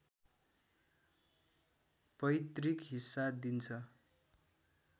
पैतृक हिस्सा दिन्छ